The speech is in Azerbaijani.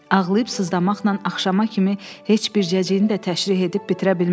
Ağlayıb sızdamaqla axşama kimi heç bircəciyini də təşrih edib bitirə bilməzdilər.